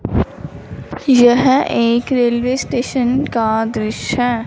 यह एक railway station का दृश्य है।